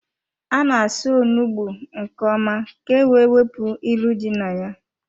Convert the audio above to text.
A na-asa onugbu nke ọma ka-ewe wepụ ilu dị na ya.